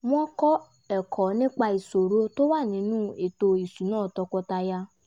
wọ́n kọ́ ẹ̀kọ́ nípa ìṣòro tó wà nínú ètò ìṣúná tọkọtaya